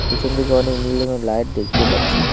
পিছনদিকে অনেক নীল রঙের লাইট দেখতে পাচ্ছি।